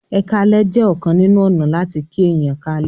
"eka lẹ" jẹ ọkan nínú ọnà lati kí èyán lalẹ